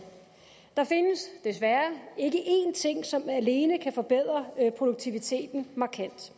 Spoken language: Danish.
der findes desværre ikke én ting som alene kan forbedre produktiviteten markant